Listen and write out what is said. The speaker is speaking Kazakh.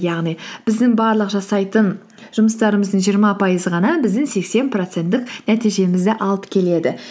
яғни біздің барлық жасайтын жұмыстарымыздың жиырма пайызы ғана біздің сексен проценттік нәтижемізді алып келеді